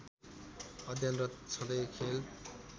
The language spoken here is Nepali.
अध्ययनरत छँदै खेल